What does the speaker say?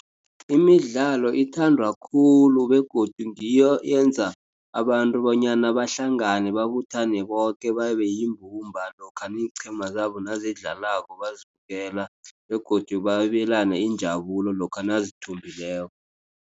Imidlalo ithandwa khulu begodu ngiyo yenza abantu bonyana bahlangane babuthane boke babe yimbumba lokha iinqhema zabo nazidlalako bazibukela begodu babelane injabulo lokha nazithumbileko.